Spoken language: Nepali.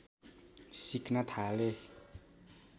सिक्न थाले